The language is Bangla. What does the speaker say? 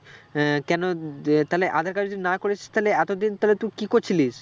আহ কেন যে তাহলে আঁধার card যদি নাই করিস তাহলে এতদিন তাহলে তুই কি করছিলিস